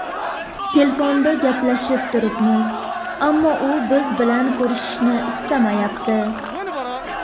Telefonda gaplashib turibmiz, ammo u biz bilan ko‘rishishni istamayapti.